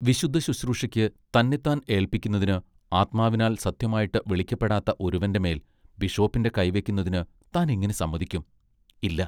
വിശുദ്ധശുശ്രൂഷയ്ക്ക് തന്നെത്താൻ ഏല്പിക്കുന്നതിന് ആത്മാവിനാൽ സത്യമായിട്ട് വിളിക്കപ്പെടാത്ത ഒരുവന്റെ മേൽ ബിഷോപ്പിന്റെ കൈവയ്ക്കുന്നതിന് താൻ എങ്ങിനെ സമ്മതിക്കും, ഇല്ല.